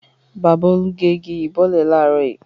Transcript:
Bàbá Olú gé igi yìí bọ́lẹ̀ láàárọ̀ yìí.